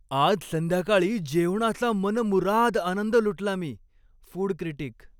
आज संध्याकाळी जेवणाचा मनमुराद आनंद लुटला मी. Food critic